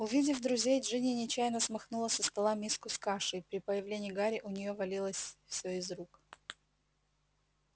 увидев друзей джинни нечаянно смахнула со стола миску с кашей при появлении гарри у нее все валилось из рук